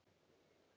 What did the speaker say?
Rautt eða gult?